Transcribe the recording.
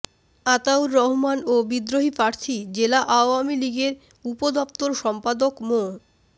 আতাউর রহমান ও বিদ্রোহী প্রার্থী জেলা আওয়ামী লীগের উপদপ্তর সম্পাদক মো